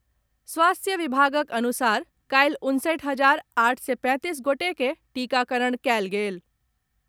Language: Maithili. स्वास्थ्य विभागक अनुसार काल्हि उनसठि हजार आठ सय पैंतीस गोटे के टीकाकरण कयल गेल।